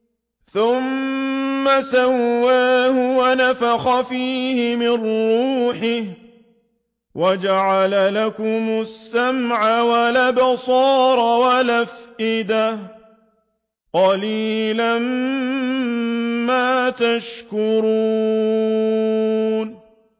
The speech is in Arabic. ثُمَّ سَوَّاهُ وَنَفَخَ فِيهِ مِن رُّوحِهِ ۖ وَجَعَلَ لَكُمُ السَّمْعَ وَالْأَبْصَارَ وَالْأَفْئِدَةَ ۚ قَلِيلًا مَّا تَشْكُرُونَ